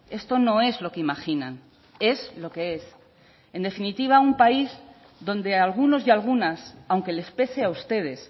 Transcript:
esto no es lo que imaginan es lo que es en definitiva un país donde algunos y algunas aunque les pese a ustedes